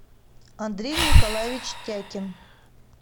андрей николаевич тякин